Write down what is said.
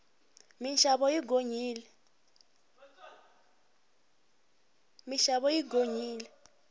minxavo yi gonyile